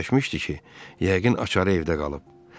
Fikirləşmişdi ki, yəqin axşarı evdə qalıb.